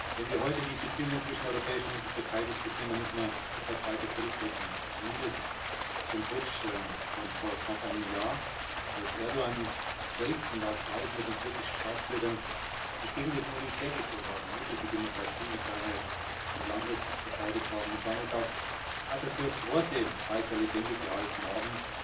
Wenn wir heute die Beziehungen zwischen der Europäischen Union und der Türkei diskutieren, dann müssen wir etwas weiter zurückblicken zumindest zum Putsch von vor knapp einem Jahr, als Erdoğan selbst und auch Tausende von türkischen Staatsbürgern sich gegen das Militär gestellt haben, mutig die Demokratie und die Freiheit des Landes verteidigt haben und damit auch Atatürks Worte weiter lebendig gehalten haben